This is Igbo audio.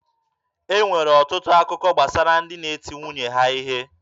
E nwere ọtụtụ akụkọ gbasara ndị di na-eti nwunye ha ihe.